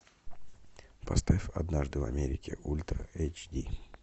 поставь однажды в америке ультра эйч ди